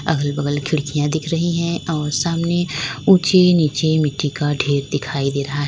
अगल बगल खिड़कियां दिखा रही है और सामने ऊंची नीची मिट्टी का ढेर दिखाई दे रहा है।